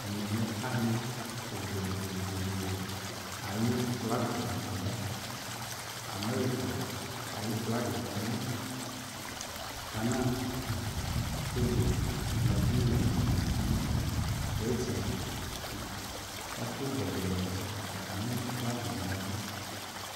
Ɛmɛ lɛ ali bʊɛ ayʊ flagɛ la ya amerika ayʊ flagɛ dʊ ayili gana togo nageriǝ nʊ bretin nʊ ɛfʊ gɛdɛ atami flagɛ yɛ yaɛvʊ